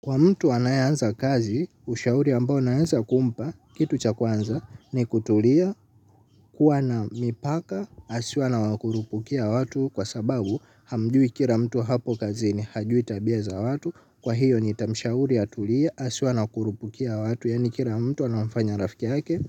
Kwa mtu anayeanza kazi, ushauri ambao naweza kumpa, kitu cha kwanza, ni kutulia kuwa na mipaka, asiwe anawakurupukia watu kwa sababu hamjui kila mtu hapo kazini hajui tabia za watu, kwa hiyo nitamshauri atulie, asiwe anawakurupukia watu, yaani kila mtu anawafanya rafiki yake.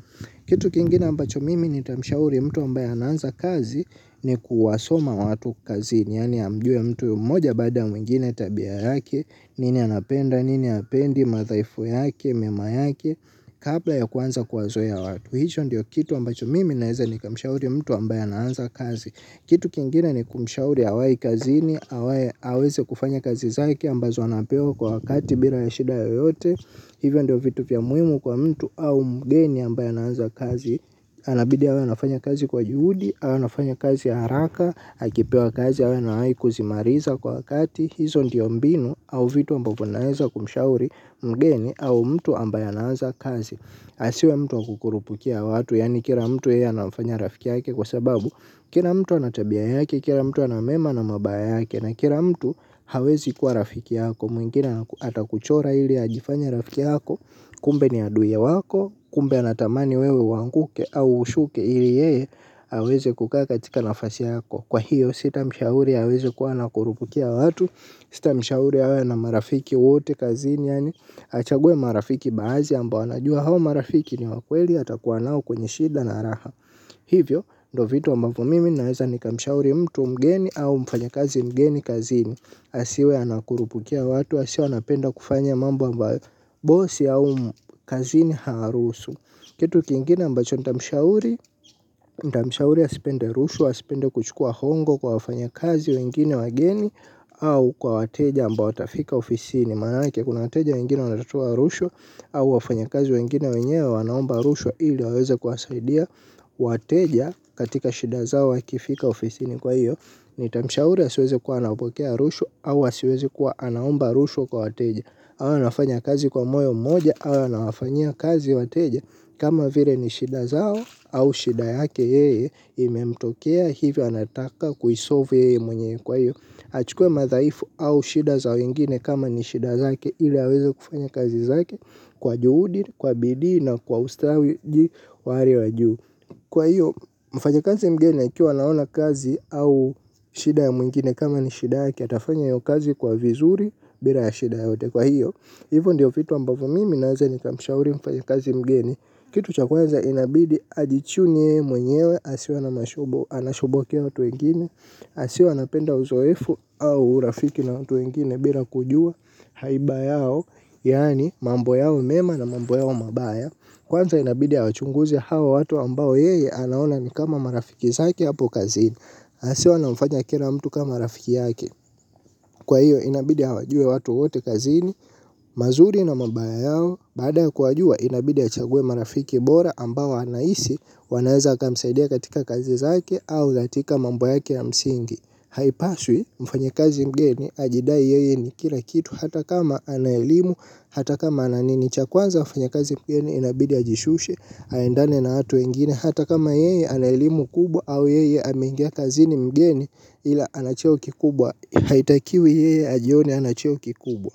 Kitu kingine ambacho mimi nitamshauri mtu ambaye anaanza kazi ni kuwasoma watu kazini. Yaani amjue mtu moja baada ya mwingine tabia yake nini anapenda, nini hapendi, madhaifu yake, mema yake. Kabla ya kuanza kuwazoea watu. Hicho ndio kitu ambacho mimi naweza nikamshauri mtu ambaye anaanza kazi. Kitu kingine ni kumshauri awai kazini. Awai aweze kufanya kazi zake ambazo anapewa kwa wakati bila ya shida yoyote. Hivyo ndio vitu vya muhimu kwa mtu au mgeni ambaye anaanza kazi. Anabidi awe anafanya kazi kwa juhudi au anafanya kazi haraka akipewa kazi awe na kuzimaliza kwa wakati. Hizo ndio mbinu au vitu ambavyo naweza kumshauri mgeni au mtu ambaye anaanza kazi. Asiwe mtu wa kukurupukia watu. Yaani kila mtu yeye anamfanya rafiki yake kwa sababu kila mtu ana tabia yake. Kila mtu ana mema na mabaya yake. Na kila mtu hawezi kuwa rafiki yako. Mwingine atakuchora ili ajifanye rafiki yako. Kumbe ni aduye wako. Kumbe anatamani wewe uanguke au ushuke ili yeye aweze kukakaa katika nafasi yako. Kwa hiyo, sitamshauri aweze kuwa anakurupukia watu. Sitamshauri awe na marafiki wote kazini. Achague marafiki baadhi ambao anajua hao marafiki ni wa kweli atakuwa nao kwenye shida na raha. Hivyo, ndo vitu ambavyo mimi naweza nikamshauri mtu mgeni au mfanyakazi mgeni kazini. Asiwe anakurupukia watu, asiwe anapenda kufanya mambo ambayo bosi au kazini haruhusu. Kitu kingine ambacho nitamshauri, nitamshauri asipende rushwa, asipende kuchukua hongo kwa wafanya kazi wengine wageni. Au kwa wateja ambao watafika ofisini manake kuna wateja wengine watatoa rushwa. Au wafanya kazi wengine wenye wanaomba rushwa ili waweze kuwasaidia. Wateja katika shida zao wakifika ofisini kwa hiyo. Nitamshaura asiweze kuwa anapokea rushwa au asiweze kuwa anaomba rushwa kwa wateja. Awe anafanya kazi kwa moyo mmoja au anafanya kazi wateja. Kama vile ni shida zao au shida yake yeye imemtokea hivyo anataka kuisolve yeye mwenyewe kwa hiyo achukue madhaifu au shida za wengine kama ni shida zake ili aweze kufanya kazi zake kwa juhudi kwa bidii na kwa ustawi wa hali wa juu. Kwa hiyo, mfanyikazi mgeni akiwa anaona kazi au shida ya mwingine kama ni shida yake atafanya hiyo kazi kwa vizuri bila ya shida yoyote kwa hiyo. Hivo ndiyo vitu ambavyo mimi naweza nikamshauri mfanyikazi mgeni, kitu cha kwanza inabidi ajichunye yeye mwenyewe asiwe ana mashubo anashobokea watu wengine. Asiwe anapenda uzoefu au urafiki na watu wengine bila kujua haiba yao. Yaani mambo yao mema na mambo yao mabaya. Kwanza inabidi awachunguzi hao watu ambao yeye anaona ni kama marafiki zake hapo kazini. Asiwe anamfanya kila mtu kama rafiki yake. Kwa hiyo inabidi awajue watu wote kazini. Mazuri na mabaya yao baada ya kuwajua inabidi achague marafiki bora ambao anahisi wanaweza wakamsaidia katika kazi zake au katika mambo yake ya msingi. Haipaswi mfanyikazi mgeni ajidai yeye ni kila kitu hata kama ana elimu hata kama ana nini. Cha kwanza mfanyikazi mgeni inabidi ajishushe, aendane na watu wengine, hata kama yeye ana elimu kubwa au yeye ameingia kazini mgeni ila ana cheo kikubwa, haitakiwi yeye ajione ana cheo kikubwa.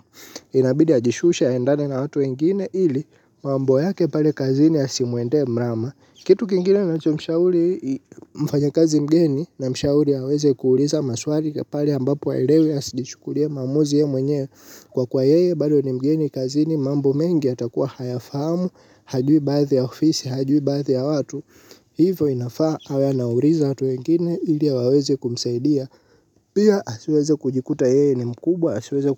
Inabidi ajishushe endane na watu wengine ili mambo yake pale kazini yasimwende mrama. Kitu kingine nacho mshauri mfanyikazi mgeni namshauri aweze kuuliza maswali pale ambapo haelewi asijichukulie maamuzi yeye mwenyewe kwa kuwa yeye bado ni mgeni kazini mambo mengi yatakuwa hayafahamu hajui baadhi ya ofisi hajui baadhi ya watu. Hivo inafaa awe anauliza watu wengine ili a waweze kumsaidia. Pia asiweze kujikuta yeye ni mkubwa, asiweze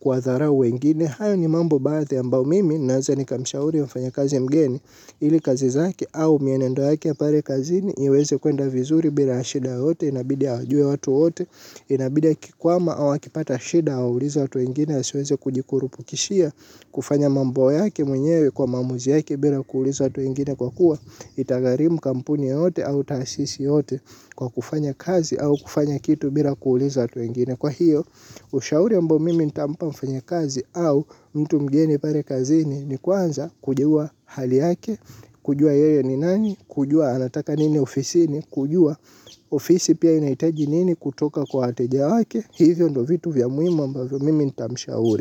kuwadharau wengine. Hayo ni mambo baadhi ambao mimi naweza nikamshauri mfanyikazi mgeni ili kazi zake au mienendo yake ya pale kazini iweze kuenda vizuri bila ya shida yoyote, inabidia awajue watu wote. Inabidia akikwama au akipata shida, awauliza watu wengine. Asiweze kujikurupukishia, kufanya mambo yake mwenyewe kwa maamuzi yake bila kuuliza watu wengine kwa kuwa, itagharimu kampuni yote au tasisi yote kwa kufanya kazi au kufanya kitu bila kuuliza watu wengine. Kwa hiyo, ushauri ambao mimi ntampa mfanyi kazi au mtu mgeni pale kazini ni kuanza kujua hali yake, kujua yeye ni nani, kujua anataka nini ofisini, kujua ofisi pia inahitaji nini kutoka kwa wateja wake. Hivyo ndo vitu vya muhimu ambavyo mimi nitamshauri.